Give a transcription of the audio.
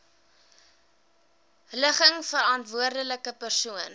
ligging verantwoordelike persoon